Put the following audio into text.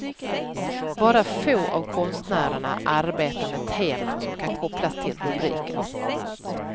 Bara få av konstnärerna arbetar med teman som kan kopplas till rubriken.